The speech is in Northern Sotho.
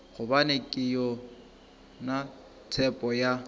gobane ke yona tshepo ya